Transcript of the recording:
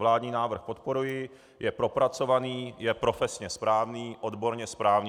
Vládní návrh podporuji, je propracovaný, je profesně správný, odborně správný.